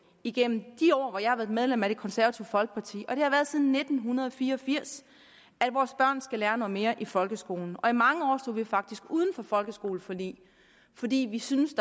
igennem de år hvor jeg har været medlem af det konservative folkeparti og det har jeg været siden nitten fire og firs at vores børn skulle lære noget mere i folkeskolen i mange år stod vi faktisk uden for folkeskoleforlig fordi vi syntes